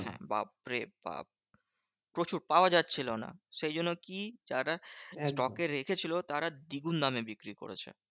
হ্যাঁ বাপ্ রে বাপ্ প্রচুর। পাওয়া যাচ্ছিলো না। সেই জন্য কি? যারা stock এ রেখেছিল? তারা দ্বিগুন দামে বিক্রি করেছে।